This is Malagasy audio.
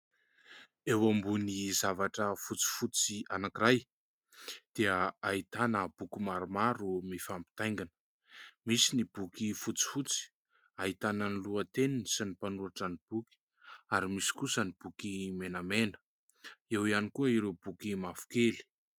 Eo ambony zavatra fotsifotsy anankiray dia ahitana boky maromaro mifampitaingina. Misy ny boky fotsifotsy ahitana ny lohateniny sy ny mpanoratra ny boky ary misy kosa ny boky menamena eo ihany koa ireo boky mavokely.